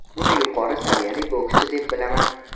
Uni yuqori saviyali bokschi deb bilaman.